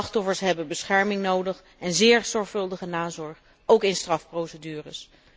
Slachtoffers hebben bescherming nodig en zeer zorgvuldige nazorg, ook in strafprocedures.